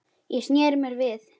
Ég sneri mér við.